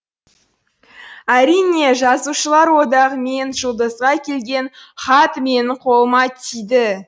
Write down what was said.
әрине жазушылар одағы мен жұлдызға келген хат менің қолыма тиді